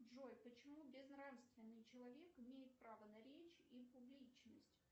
джой почему безнравственный человек имеет право на речь и публичность